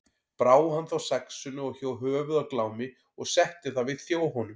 Brá hann þá saxinu og hjó höfuð af Glámi og setti það við þjó honum.